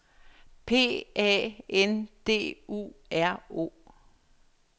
P A N D U R O